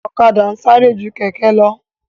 Ọ̀kadà ń sáré ju kẹ̀kẹ́ lọ